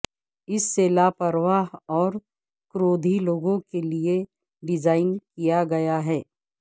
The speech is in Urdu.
اس سے لاپرواہ اور کرودھی لوگوں کے لئے ڈیزائن کیا گیا ہے